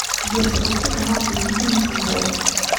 сбер запусти канал телевидения футбол